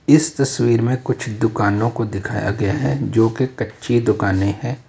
इस तस्वीर में कुछ दुकानों को दिखाया गया है जो की कच्ची दुकानें हैं।